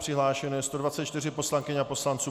Přihlášeno je 124 poslankyň a poslanců.